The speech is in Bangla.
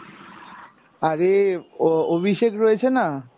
আরে অ~অভিষেক রয়েছে না?